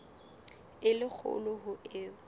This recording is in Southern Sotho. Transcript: e le kgolo ho eo